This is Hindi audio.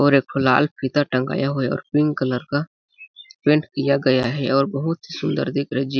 और एक ठो लाल फिता टंगाया हुआ है और पिंक कलर का पेंट किया गया है और बहुत ही सुंदर दिख रही है जीप --